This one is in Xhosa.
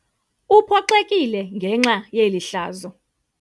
Uphoxekile ngenxa yeli hlazo.